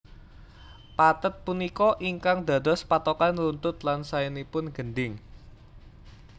Pathet punika ingkang dados patokan runtut lan saenipun gendhing